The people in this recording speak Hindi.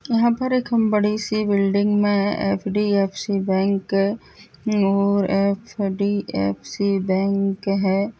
यहाँ पर एक हम बड़ी सी बिल्डिंग में एफ.डी.एफ.सी. बैंक है ओ और एफ.डी.एफ.सी. बैंक हैं।